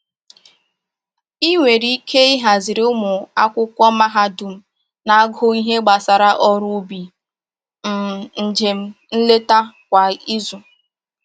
I nwere ike ihaziri ụmụ akwụkwọ mahadum na-agụ ihe gbasara ọrụ ubi um njem nleta kwa izu